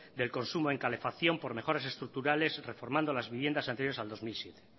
del consumo en calefacción por mejoras estructurales reformando las viviendas anteriores al dos mil siete